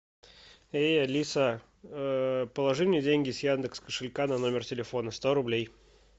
эй алиса положи мне деньги с яндекс кошелька на номер телефона сто рублей